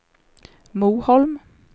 Moholm